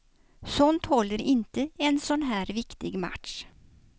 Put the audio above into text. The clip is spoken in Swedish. Sånt håller inte i en sån här viktig match.